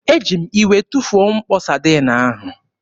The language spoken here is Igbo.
Eji m iwe tụfuo mkpo Sadiin ahụ.